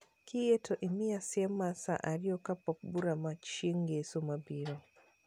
Kiyie to imiya siem mar saa ariyo kapok bura mar chieng' ngeso mabiro